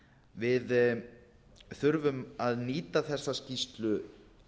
við þurfum að nýta þessa skýrslu